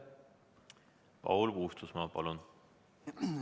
Paul Puustusmaa, palun!